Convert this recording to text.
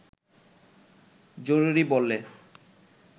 জরুরি বলে